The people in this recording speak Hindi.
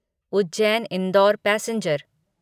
उज्जैन इंडोर पैसेंजर